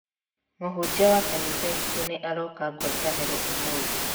Mũhunjia wa kanitha itũ nĩ aroka ngwataniro ũmũthĩ.